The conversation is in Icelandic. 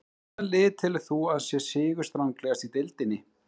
Hvaða lið telur þú að sé sigurstranglegast í deildinni?